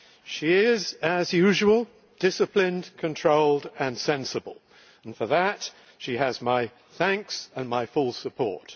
She is, as usual, disciplined, controlled and sensible and for that she has my thanks and my full support.